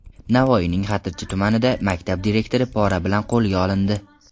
Navoiyning Xatirchi tumanida maktab direktori pora bilan qo‘lga olindi.